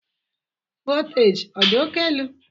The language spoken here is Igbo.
voltaji ọ dị oke elu?